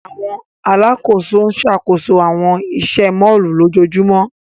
Awọn alakoso n ṣakoso awọn iṣẹ mọllu lojoojumọ.